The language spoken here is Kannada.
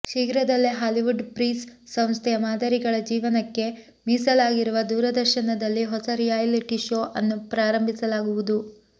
ಶೀಘ್ರದಲ್ಲೇ ಹಾಲಿವುಡ್ ಫ್ರೀಸ್ ಸಂಸ್ಥೆಯ ಮಾದರಿಗಳ ಜೀವನಕ್ಕೆ ಮೀಸಲಾಗಿರುವ ದೂರದರ್ಶನದಲ್ಲಿ ಹೊಸ ರಿಯಾಲಿಟಿ ಶೋ ಅನ್ನು ಪ್ರಾರಂಭಿಸಲಾಗುವುದು